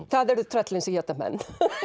það eru tröllin sem éta menn